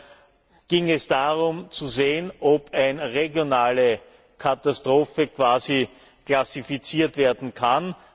Daher ging es darum zu sehen, ob eine regionale Katastrophe klassifiziert werden kann.